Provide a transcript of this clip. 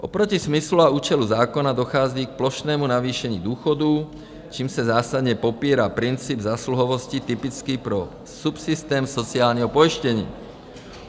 Oproti smyslu a účelu zákona dochází k plošnému navýšení důchodů, čímž se zásadně popírá princip zásluhovosti typický pro subsystém sociálního pojištění.